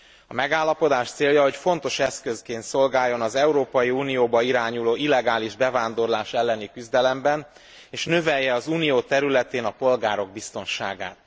A megállapodás célja, hogy fontos eszközként szolgáljon az Európai Unióba irányuló illegális bevándorlás elleni küzdelemben és növelje az Unió területén a polgárok biztonságát.